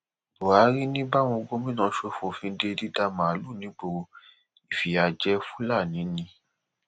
buhari ni báwọn gómìnà ṣe fòfin de dídà màálùú nígboro ìfìyà jẹ fúlàní ni